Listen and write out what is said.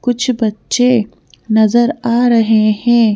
कुछ बच्चे नजर आ रहे हैं।